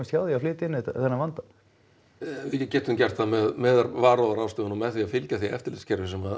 hjá því að flytja inn þennan vanda við getum gert það með varúðarráðstöfunum með því að fylgja því eftirlitskerfi sem